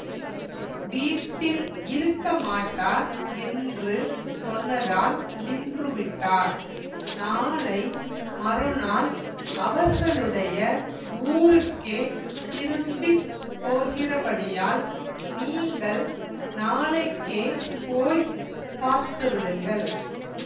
வீட்டில் இருக்கமாட்டார் என்று சொன்னதால் நின்றுவிட்டார் நாளை மறுநாள் அவர்களுடைய ஊருக்கே திரும்பி போகிறபடியால் நீங்கள் நாளைக்கே போய் பார்த்துவிடுங்கள்